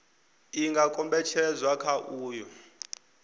i nga kombetshedzwa kha uyo